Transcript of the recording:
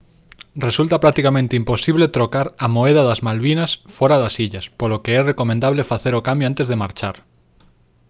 resulta practicamente imposible trocar a moeda das malvinas fóra das illas polo que é recomendable facer o cambio antes de marchar